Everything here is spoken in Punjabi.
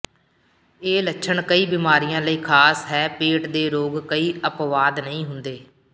ਇਹ ਲੱਛਣ ਕਈ ਬਿਮਾਰੀਆਂ ਲਈ ਖਾਸ ਹੈ ਪੇਟ ਦੇ ਰੋਗ ਕੋਈ ਅਪਵਾਦ ਨਹੀਂ ਹੁੰਦੇ